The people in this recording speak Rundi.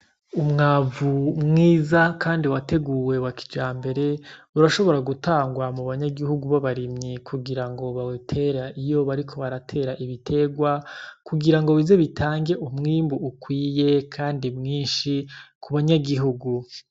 Umwavu mwiza kandi wateguwe wa kijambere , urashobora gutangwa mubanyanyigihugu babarimyi kugirango bawutere iyo bariko baratera ibiterwa, kugirango bise bitange umwimbu ukwiye kandi mwinshi mubanyanyigihugu.